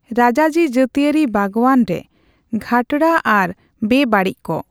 ᱨᱟᱡᱟᱡᱤ ᱡᱟ.ᱛᱤᱭᱟ.ᱨᱤ ᱵᱟᱜᱟᱱ ᱨᱮ ᱜᱷᱟᱴᱬᱟ ᱟᱨ ᱵᱮ ᱵᱟᱲᱤᱡ ᱠᱚ.